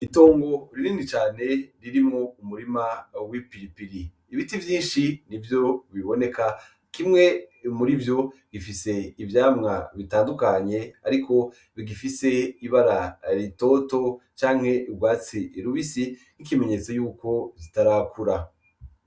Itongo ririni cane ririmwo umurima awi pilipili ibiti vyinshi ni vyo biboneka kimwe muri vyo gifise ivyamwa bitandukanye, ariko bigifise ibara ritoto canke irwatse irubisi n'ikimenyetso yuko zitarakura.